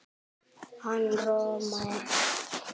Hann roðnar.